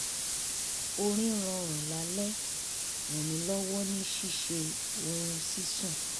orin rọrùn lálẹ́ ràn mí lọ́wọ́ ní ṣíṣe ohun ṣíṣùn